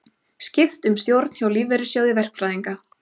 Skipt um stjórn hjá Lífeyrissjóði verkfræðinga